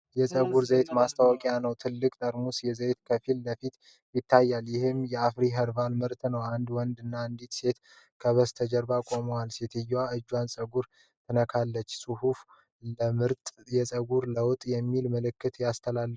የፀጉር ዘይት ማስታወቂያ ነው። ትልቅ ጠርሙስ ዘይት ከፊት ለፊት ይታያል፤ ይህም የአፍሪ ኸርባል ምርት ነው። አንድ ወንድ እና አንዲት ሴት ከበስተጀርባ ቆመዋል፤ ሴትየዋ የእጁን ፀጉር ትነካለች። ጽሁፉ “ለምርጥ የፀጉር ለውጥ!” የሚል መልዕክት ያስተላልፋል።